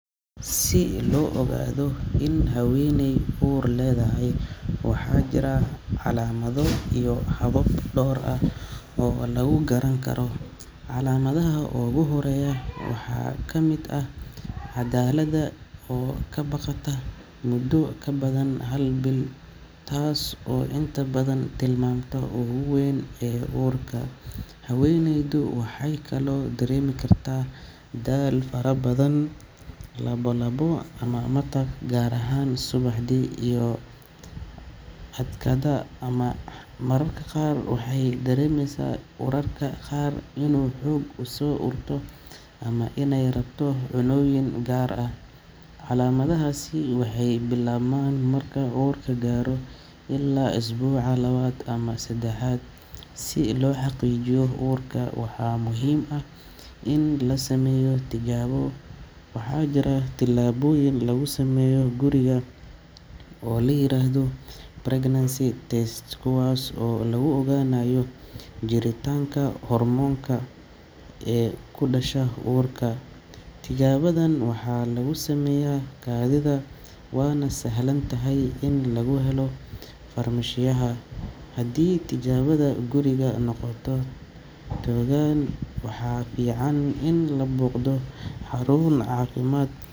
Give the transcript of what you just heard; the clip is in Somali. Si loo ogaado in haweeney uur leedahay, waxaa jira calaamado iyo habab dhowr ah oo lagu garan karo. Calaamadaha ugu horreeya waxaa ka mid ah caadada oo ka baaqata muddo ka badan hal bil, taas oo inta badan ah tilmaanta ugu weyn ee uurka. Haweeneydu waxay kaloo dareemi kartaa daal fara badan, lalabo ama matag gaar ahaan subaxdii, iyo naaso adkaada ama xanuuna. Mararka qaar waxay dareemaysaa urarka qaar inuu xoog u soo urto ama inay rabto cunnooyin gaar ah. Calaamadahaasi waxay bilaabmaan marka uurku gaaro ilaa usbuuca labaad ama saddexaad. Si loo xaqiijiyo uurka, waxaa muhiim ah in la sameeyo tijaabo. Waxaa jira tijaabooyin lagu sameeyo guriga oo la yiraahdo pregnancy test kit kuwaas oo lagu ogaanayo jiritaanka hormoonka hCG ee ka dhasha uurka. Tijaabadan waxaa lagu sameeyaa kaadida, waana sahlan tahay in lagu helo farmashiyaha. Haddii tijaabada gurigu noqoto togan, waxaa fiican in la booqdo xarun caafimaad.